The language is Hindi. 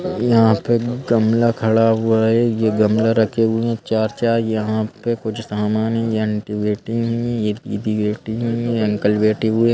यहाँ पे गमला खड़ा हुआ है यह गमला रखे हुए हैं चार-चार यहाँ पे कुछ सामान है ये आंटी बैठी हुई हैं ये दीदी बैठी हुई हैं ये अंकल बैठे हुए हैं।